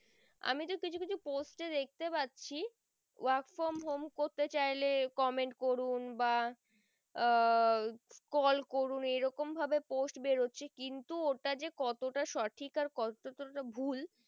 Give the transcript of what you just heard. কিছু post এ দেখতে পারছি work from home করতে চাইলে comment করুন বা আহ call করুন এই রকম ভাবে post বেরোচ্ছে কিন্তু ওটা যে কতটা সঠিক আর কতটা ভুল